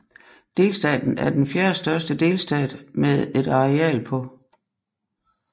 Delstaten er den fjerdestørste delstat med et areal på